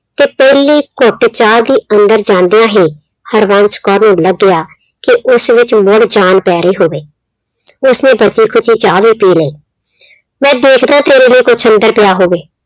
ਤੇ ਤੇਲੀ ਘੁੱਟ ਚਾਹ ਦੀ ਅੰਦਰ ਜਾਂਦਿਆਂ ਹੀ, ਹਰਬੰਸ ਕੌਰ ਨੂੰ ਲੱਗਿਆ ਕਿ ਉਸ ਵਿੱਚ ਮੁੜ ਜਾਣ ਪੈ ਰਹੀ ਹੋਵੇ। ਉਸਨੇ ਬਚੀ ਖੁਚੀ ਚਾਹ ਵੀ ਪੀ ਲਈ। ਮੈਂ ਦੇਖਦਾ ਤੇਰੇ ਲਈ ਕੁੱਛ ਅੰਦਰ ਪਿਆ ਹੋਵੇ।